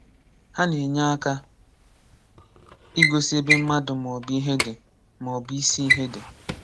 Ha na-enye aka ịgosị ebe mmadụ ma ọ bụ ihe dị, ma ọ bụ isi ihe dị.